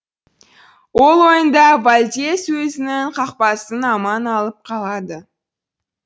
ол ойында вальдес өзінің қақпасын аман алып қалады